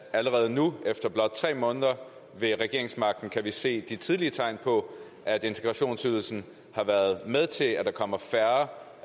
at allerede nu efter blot tre måneder ved regeringsmagten kan vi se de tidlige tegn på at integrationsydelsen har været med til at der kommer færre